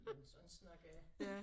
Men sådan snakker jeg